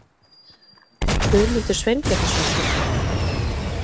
Guðmundur Sveinbjarnarson hét hann.